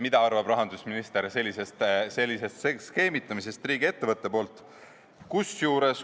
Mida arvab rahandusminister riigiettevõtte sellisest skeemitamisest?